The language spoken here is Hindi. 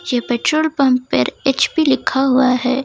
ये पेट्रोल पंप पर एच_पी लिखा हुआ है।